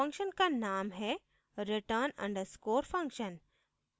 function का name है return _ underscore function